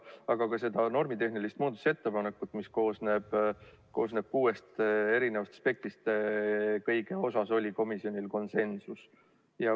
Aga ka normitehnilise muudatusettepaneku suhtes, mis koosneb kuuest erinevast aspektist, oli komisjonil konsensus.